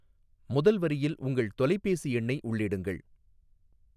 முதல் வரியில் உங்கள் தொலைபேசி எண்ணை உள்ளிடுங்கள்.